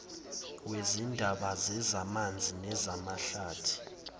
wezindaba zezamanzi namahlathi